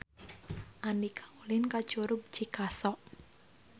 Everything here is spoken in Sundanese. Andika ulin ka Curug Cikaso